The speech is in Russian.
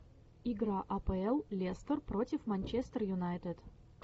игра апл лестер против манчестер юнайтед